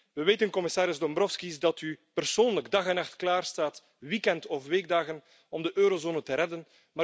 We weten commissaris Dombrovskis dat u persoonlijk dag en nacht klaar staat, weekend of weekdagen, om de eurozone te redden.